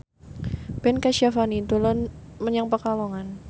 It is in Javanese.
Ben Kasyafani dolan menyang Pekalongan